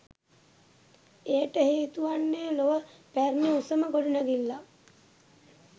එයට හේතුවන්නේ ලොව පැරණි උසම ගොඩනැඟිල්ලක්